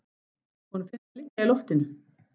Honum finnst það liggja í loftinu.